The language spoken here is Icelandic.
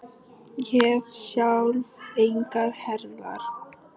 Ég hef sjálf engar herðar.